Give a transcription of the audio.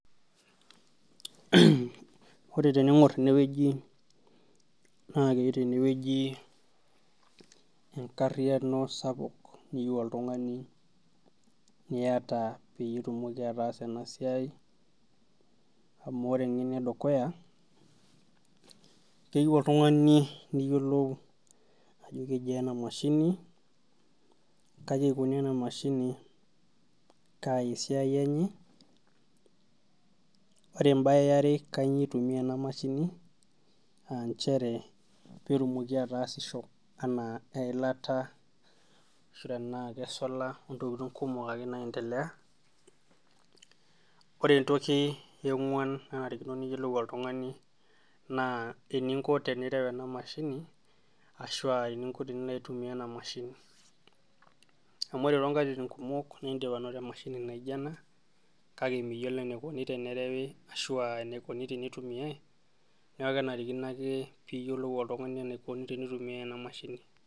Ore tening'or tenewueji naa enkariano sapuk toltung'ani niata peeitumoki ataasa ena siai amu ore ninye enedukuya keyieu oltung'ani niyiolou ajo kejiaa ina mashini kaji eikoni ena mashini peitayu esiai enye ore embaye yare kanyioo eitumiya ena mashini peetumoki ataasisho aa nchere eilata enaa. Kesola ontokitin kumok ake naaendelea ore entoki eng'uan naanarikino piiyiolou oltung'ani naa eninko tenireu ena mashini ashua eninko tenilo aitumiya ena mashini amu pre tonkatitin kumok naa indim anoto emashini naijio ena kake miyiolo eneikoni tenerewi ashua eneikoni teneitumiyai neeku kenarikino ake peeyiolou oltung'ani enaikoni tenitumiyai ena mashini.